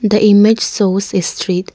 the image shows a street.